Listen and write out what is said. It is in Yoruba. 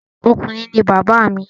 Ọkùnrin ni bàbá mi